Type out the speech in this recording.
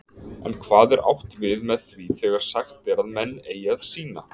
En hvað er átt við með því þegar sagt er að menn eigi að sýna